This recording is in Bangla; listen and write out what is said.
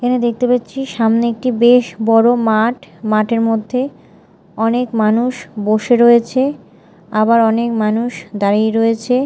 এখানে দেখতে পাচ্ছি সামনে একটি বেশ বড় মাঠ মাঠের মধ্যে অনেক মানুষ বসে রয়েছে আবার অনেক মানুষ দাঁড়িয়ে রয়েছে।